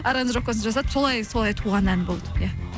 аранжировкасын жасатып солай туған ән болды иә